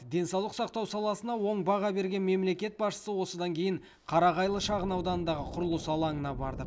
денсаулық сақтау саласына оң баға берген мемлекет басшысы осыдан кейін қарағайлы шағынауданындағы құрылыс алаңына барды